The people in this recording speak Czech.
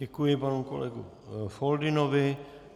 Děkuji panu kolegovi Foldynovi.